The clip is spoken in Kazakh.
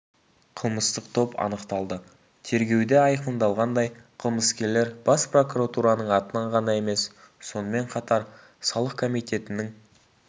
қылмыстық топ анықталды тергеуде айқындалғандай қылмыскерлер бас прокуратураның атынан ғана емес сонымен қатар салық комитетінің